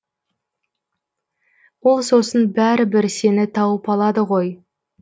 ол сосын бәрі бір сені тауып алады ғой